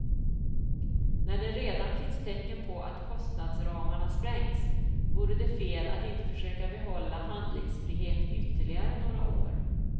När det redan finns tecken på att kostadsramarna sprängts vore det fel att inte försöka behålla handlingsfrihet ytterligare några år.